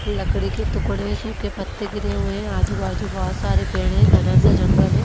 लकड़ी के टुकड़े हैं सूखे पत्ते गिरे हुए हैं आजू-बाजू बहोत सारे पेड़ हैं घना सा जंगल है।